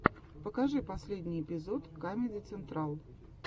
покажи последний эпизод камеди централ